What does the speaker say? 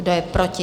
Kdo je proti?